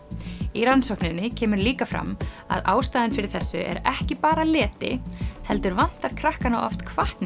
í rannsókninni kemur líka fram að ástæðan fyrir þessu er ekki bara leti heldur vantar krakkana oft hvatningu